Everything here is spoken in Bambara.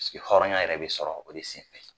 hɔrɔnya yɛrɛ bɛ sɔrɔ o de senfɛ